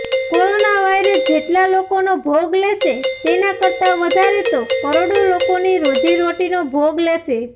corona virus જેટલાં લોકોનો ભોગ લેશે તેના કરતાં વધારે તો કરોડો લોકોની રોજીરોટીનો ભોગ લેશે